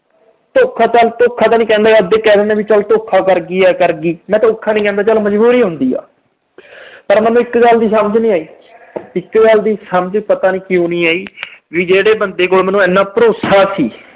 ਧੋਖਾ ਚਲ ਧੋਖਾ ਤਾਂ ਨਹੀਂ ਕਹਿੰਦਾ ਵੀ ਅੱਧੇ ਕਹਿ ਦਿੰਦੇ ਆ ਵੀ ਚਲ ਧੋਖਾ ਕਰ ਗਈ, ਆਏ ਕਰ ਗਈ, ਮੈਂ ਧੋਖਾ ਨਹੀਂ ਕਹਿਦਾ, ਚਲ ਮਜਬੂਰੀ ਹੁੰਦੀ ਆ। ਪਰ ਮੈਨੂੰ ਇੱਕ ਗੱਲ ਦੀ ਸਮਝ ਨੀ ਆਈ, ਇਕ ਗੱਲ ਦੀ ਸਮਝ ਪਤਾ ਨੀ ਕਿਉਂ ਨੀ ਆਈ, ਵੀ ਜਿਹੜੇ ਬੰਦੇ ਕੋਲ ਮੈਨੂੰ ਇੰਨਾ ਭਰੋਸਾ ਸੀ।